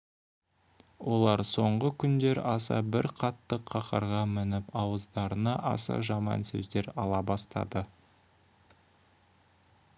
олар соңғы күндер аса бір қатты қаһарға мініп ауыздарына аса жаман сөздер ала бастады